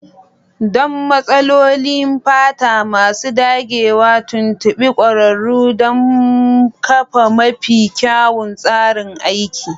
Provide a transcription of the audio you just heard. Don matsalolin fata masu dagewa, tuntuɓi ƙwararru don kafa mafi kyawun tsarin aiki.